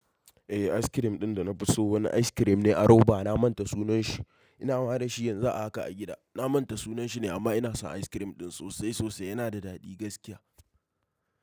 Eh, ice cream ɗin da na fi so wani ice cream ne a Roba. Na manta sunan shi. Ina hawa da shi yanzu a haka a gida. Na manta sunan shi ne amma ina son ice cream ɗin sosai sosai. Yana da daɗi gaskiya.